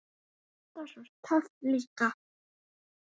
Alltaf svo töff líka.